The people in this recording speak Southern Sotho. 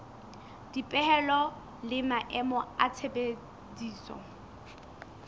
dipehelo le maemo a tshebediso